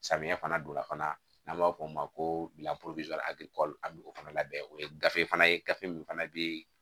Samiya fana donna fana n'an b'a f'o ma ko an bi o fana labɛn o ye gafe fana ye gafe min fana bɛ yen